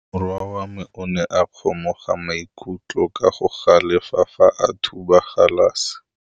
Morwa wa me o ne a kgomoga maikutlo ka go galefa fa a thuba galase.